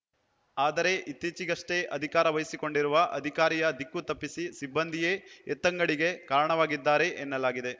ಆದರೆ ಇತ್ತಿಚೇಗಷ್ಟೆ ಅಧಿಕಾರ ವಹಿಸಿಕೊಂಡಿರುವ ಅಧಿಕಾರಿಯ ದಿಕ್ಕು ತಪ್ಪಿಸಿ ಸಿಬ್ಬಂದಿಯೇ ಎತ್ತಂಗಡಿಗೆ ಕಾರಣವಾಗಿದ್ದಾರೆ ಎನ್ನಲಾಗಿದೆ